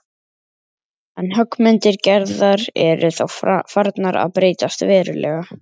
En höggmyndir Gerðar eru þá farnar að breytast verulega.